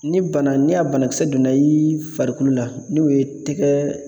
Ni ni a bana ni a banakisɛ donna i ni farikolo la n'o ye tɛgɛ